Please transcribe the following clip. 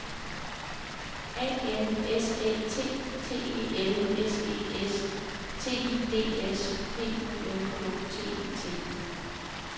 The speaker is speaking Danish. A N S Æ T T E L S E S T I D S P U N K T E T